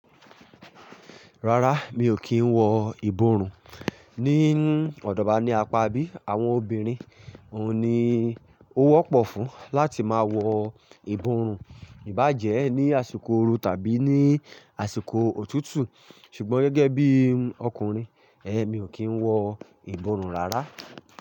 Rárá, mi ò kí ń wọ ìborùn. Ni ọ̀dọ̀wa ní apá bí, àwọn obìnrin òun ni ó wọ́pọ̀ fún láti máa wọ ìborùn, ìbá jẹ ní àsìkò ooru tàbí ní àsìkò òtútù. Ṣùgbọ́n gẹ́gẹ́ bí ọkùnrin, mi ò kí ń wọ ìborùn rárá.